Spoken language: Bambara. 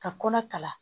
Ka kɔnɔ kala